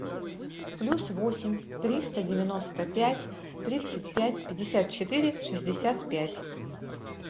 плюс восемь триста девяносто пять тридцать пять пятьдесят четыре шестьдесят пять